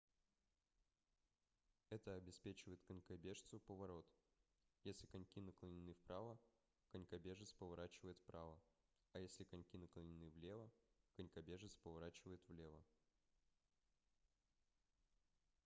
это обеспечивает конькобежцу поворот если коньки наклонены вправо конькобежец поворачивает вправо а если коньки наклонены влево конькобежец поворачивает влево